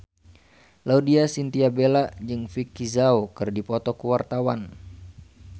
Laudya Chintya Bella jeung Vicki Zao keur dipoto ku wartawan